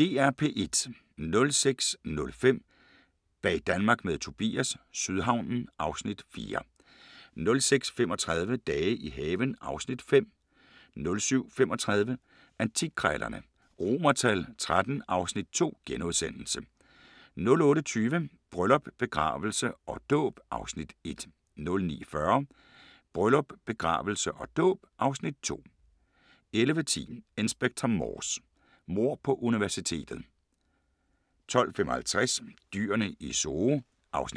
06:05: Bag Danmark med Tobias – Sydhavnen (Afs. 4) 06:35: Dage i haven (Afs. 5) 07:35: Antikkrejlerne XIII (Afs. 2)* 08:20: Bryllup, begravelse og dåb (Afs. 1) 09:40: Bryllup, begravelse og dåb (Afs. 2) 11:10: Inspector Morse: Mord på universitetet 12:55: Dyrene i Zoo (1:6)* 13:40: